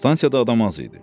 Stansiyada adam az idi.